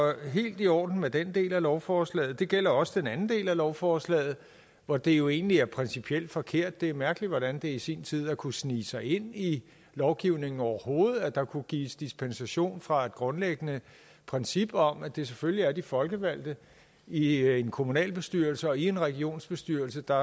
helt i orden med den del af lovforslaget det gælder også den anden del af lovforslaget hvor det jo egentlig er principielt forkert det er mærkeligt hvordan det i sin tid har kunnet snige sig ind i lovgivningen overhovedet at der kunne gives dispensation fra et grundlæggende princip om at det selvfølgelig er de folkevalgte i en kommunalbestyrelse og i en regionsbestyrelse der